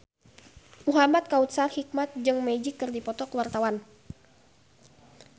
Muhamad Kautsar Hikmat jeung Magic keur dipoto ku wartawan